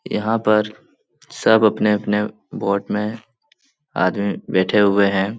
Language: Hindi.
यहाँ पर सब अपने अपने बोट में आदमी बैठे हुए हैं।